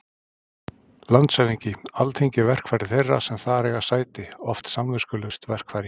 LANDSHÖFÐINGI: Alþingi er verkfæri þeirra sem þar eiga sæti- oft samviskulaust verkfæri.